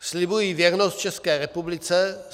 "Slibuji věrnost České republice.